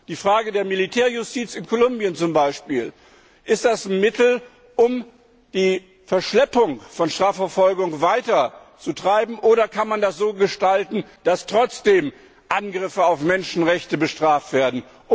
Die Frage der Militärjustiz in Kolumbien zum Beispiel Ist das ein Mittel, um die Verschleppung von Strafverfolgung weiterzutreiben, oder kann man das so gestalten, dass Menschenrechtsverletzungen trotzdem bestraft werden?